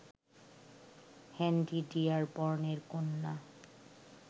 Henry ডিয়ারবর্নের কন্যা